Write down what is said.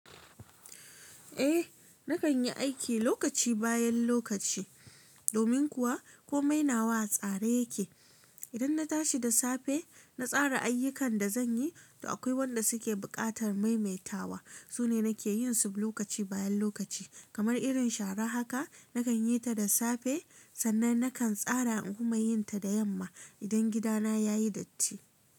Eh, nakan yi aiki lokaci bayan lokaci. Domin kuwa komai nawa a tsare yake. Idan na tashi da safe, na tsara ayyukan da zan yi, to akwai wanda suke buƙatar maimaitawa. Su ne nake yin su lokaci bayan lokaci, kamar irin shara haka nakan yi ta da safe. Sannan nakan tsara in kuma yin ta da yamma idan gida na ya yi datti.